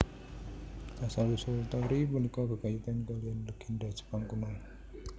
Asal usul torii punika gegayutan kalihan legènda Jepang kuno